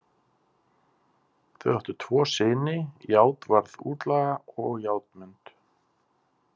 Þau áttu tvo syni, Játvarð útlaga og Játmund.